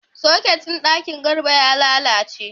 Soket ɗin ɗaki Garba ya lalace.